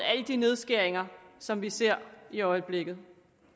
alle de nedskæringer som vi ser i øjeblikket